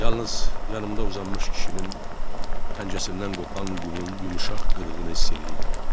Yalnız yanımda uzanmış kişinin pəncəsindən qopan qumun yumşaq qıdığını hiss eləyirdim.